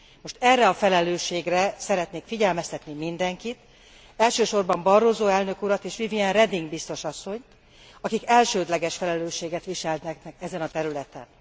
Most erre a felelősségre szeretnék figyelmeztetni mindenkit, elsősorban Barroso elnök urat és Viviane Reding biztos asszonyt, akik elsődleges felelősséget viseltetnek ezen a területen.